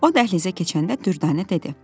O dəhlizə keçəndə Dürdanə dedi: